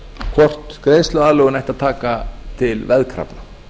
hvort greiðsluaðlögun ætti að taka til veðkrafna